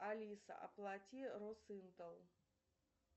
алиса оплати росинтел